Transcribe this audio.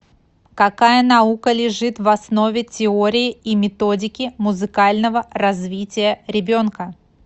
какая наука лежит в основе теории и методики музыкального развития ребенка